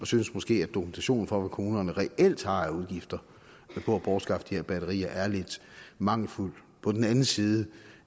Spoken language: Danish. synes måske at dokumentationen for hvad kommunerne reelt har af udgifter på at bortskaffe de her batterier er lidt mangelfuld på den anden side